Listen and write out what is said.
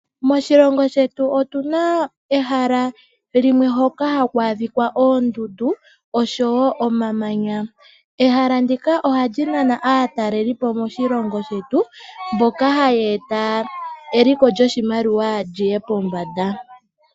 Moshilongo shetu otu na ehala limwe hoka haku adhika oondundu oshowo omamanya. Ehala ndika ohali nana aatalelipo moshilongo mboka haya eta eliko lyoshilongo liye pombanda.